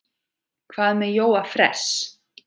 Hvað með Jóa fress?